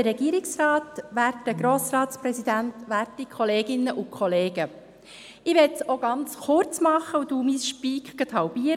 Ich möchte es auch kurz machen und halbiere oder drittle meinen «Speak».